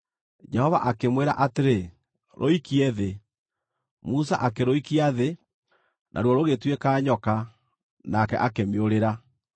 Jehova akĩmwĩra atĩrĩ, “Rũikie thĩ.” Musa akĩrũikia thĩ, naruo rũgĩtuĩka nyoka, nake akĩmĩũrĩra.